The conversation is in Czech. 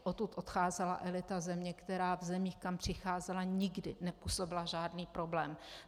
Odtud odcházela elita země, která v zemích, kam přicházela, nikdy nepůsobila žádný problém.